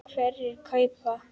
Hverjir kaupa?